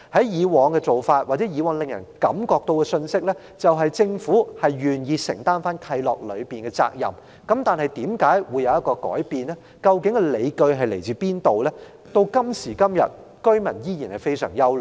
以往的做法或所發放的信息，就是政府願意承擔契諾的責任，但為何會有當前的改變，而理據為何，居民到今時今日依然感到憂慮。